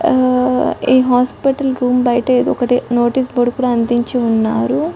హా ఈ hospital room బయట ఏదో ఒకటి నోటీసు బోర్డు కూడా అందించి ఉన్నారు.